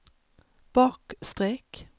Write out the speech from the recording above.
bakstreck